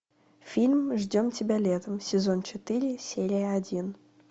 фильм ждем тебя летом сезон четыре серия один